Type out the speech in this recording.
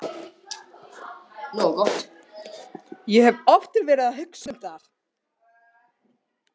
Ég hef oft verið að hugsa um það.